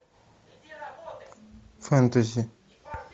фэнтези